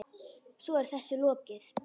Svo er þessu lokið?